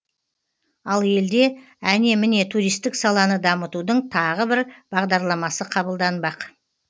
ал елде әне міне туристік саланы дамытудың тағы бір бағдарламасы қабылданбақ